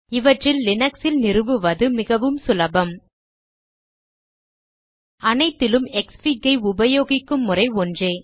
இவற்றில் லினக்ஸ் ல் நிறுவுவது மிகவும் சுலபம் அனைத்திலும் க்ஸ்ஃபிக் ஐ உபயோகிக்கும் முறை ஒன்றே